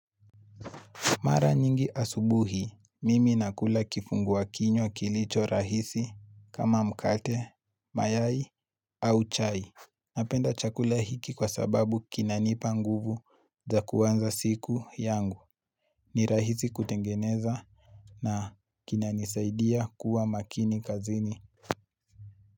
Mara nyingi asubuhi, mimi nakula kifungua kinywa kilicho rahisi kama mkate, mayai au chai. Napenda chakula hiki kwa sababu kinanipa nguvu za kwanza siku yangu. Ni rahisi kutengeneza na kinanisaidia kuwa makini kazini.